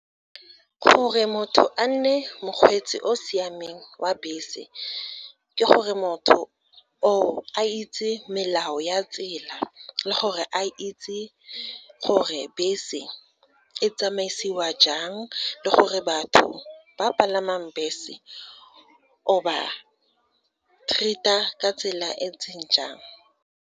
Gore motho a nne mokgweetsi o o siameng wa bese, ke gore motho o, a itse melao ya tsela, le gore a itse gore bese e tsamaisiwa jang, le gore batho ba palamang bese, o ba treat-a ka tsela e ntseng jang.